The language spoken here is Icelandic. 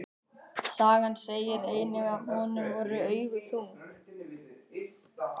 Sagan segir einnig að honum voru augu þung.